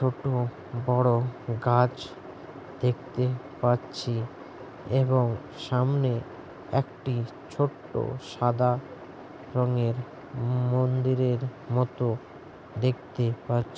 ছোট বড় গাছ দেখতে পাচ্ছি এবং সামনে একটি ছোট্ট সাদা রঙের মন্দিরের মতো দেখতে পাচ্ছি।